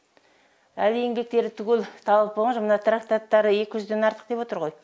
әлі еңбектері түгел табылып болған жоқ мына трактаттары екі жүзден артық деп отыр ғой